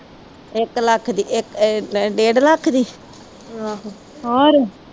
ਇੱਕ ਲੱਖ ਦੀ ਇੱਕ ਆ ਡੇਢ ਲੱਖ ਦੀ